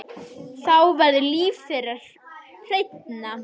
Þá verður líf þeirra hreinna.